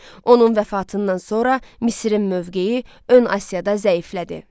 Onun vəfatından sonra Misirin mövqeyi ön Asiyada zəiflədi.